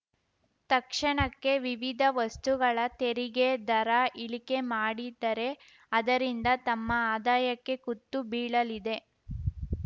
ತಕ್ಷಣಕ್ಕೆ ವಿವಿಧ ವಸ್ತುಗಳ ತೆರಿಗೆ ದರ ಇಳಿಕೆ ಮಾಡಿದರೆ ಅದರಿಂದ ತಮ್ಮ ಆದಾಯಕ್ಕೆ ಕುತ್ತು ಬೀಳಲಿದೆ